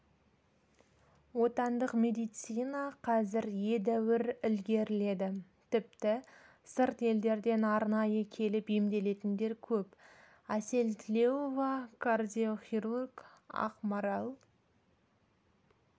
отандық медицина қазір едәуір ілгеріледі тіпті сырт елдерден арнайы келіп емделетіндер көп әсел тілеуова кардиохирург ақмарал